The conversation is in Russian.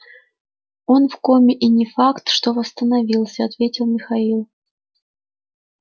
он в коме и не факт что восстановился ответил михаил